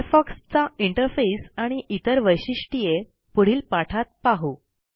Firefox चा interface आणि इतर वैशिष्ट्ये पुढील पाठात पाहू